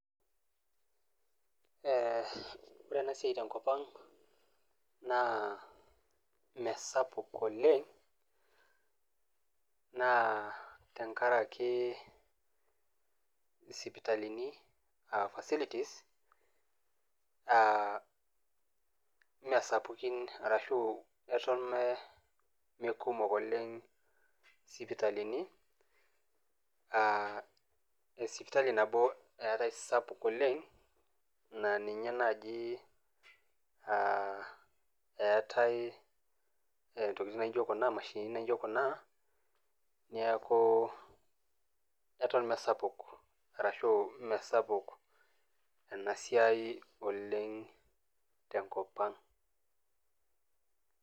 Ore ena siai te enkop ang' naa mee sapuk oleng' naa tenkaraki isipitalini aa facilities, aa mee sapukn arashu eton mee kumok oleng' isipitalini aa sipitali sapuk naa ninye naaji eatai intokitin naijo kuna imashinini naijo kuna, neaku eton mee sapuk ena siai oleng' te enkop ang' .